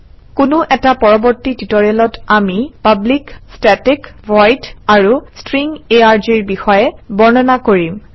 কোনো এটা পৰৱৰ্তী টিউটৰিয়েলত আমি পাব্লিক ষ্টেটিক ভইড আৰু ষ্ট্ৰিং arg ৰ বিষয়ে বৰ্ণনা কৰিম